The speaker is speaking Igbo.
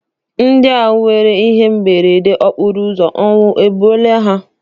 Ndị ahụ nwere ihe mberede okporo ụzọ ọnwụ egbuola ha?